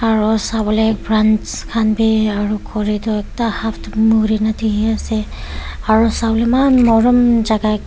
aro sabole branch khan bi aro khuri toh ekta half toh muri na dikhi ase aro sabole eman morom jaga ekta.